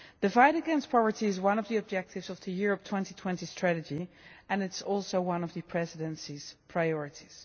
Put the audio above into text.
The fight against poverty is one of the objectives of the Europe 2020 strategy and it is also one of the Presidency's priorities.